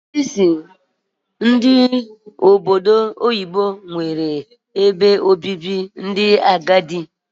A na-eme bụ ebe obibi ndị agadi naanị na ụwa ọdịda anyanwụ